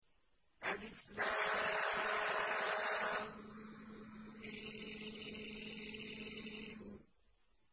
الم